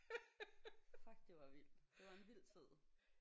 Fuck det var vildt. Det var en vild tid